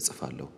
እጽፋለሁ።